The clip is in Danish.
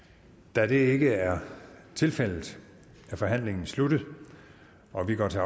da det ikke er tilfældet er forhandlingen sluttet og vi går til